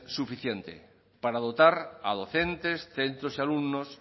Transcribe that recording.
suficiente para dotar a docentes centros y alumnos